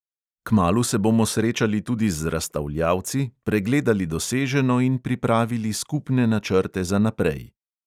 Kmalu se bomo srečali tudi z razstavljavci, pregledali doseženo in pripravili skupne načrte za naprej.